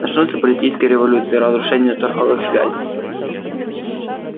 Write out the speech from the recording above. начнутся политические революции разрушение торговых связей